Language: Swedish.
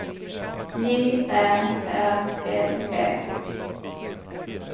J Ä R L E